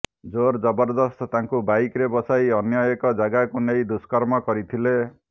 ଜୋର ଜରବଦସ୍ତ ତାଙ୍କୁ ବାଇକରେ ବସାଇ ଅନ୍ୟ ଏକ ଜାଗାକୁ ନେଇ ଦୁଷ୍କର୍ମ କରିଥିଲେ